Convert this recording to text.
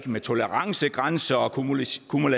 med tolerancegrænser og akkumulation